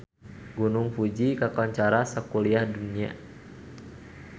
Gunung Fuji kakoncara sakuliah dunya